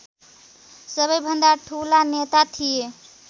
सबैभन्दा ठूला नेता थिए